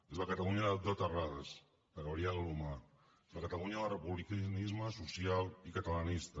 és la catalunya de terradas de gabriel alomar és la catalunya del republicanisme social i catalanista